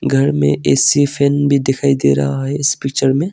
घर में AC fan भी दिखाई दे रहा है इस पिक्चर में।